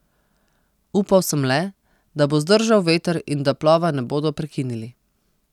Upal sem le, da bo zdržal veter in da plova ne bodo prekinili.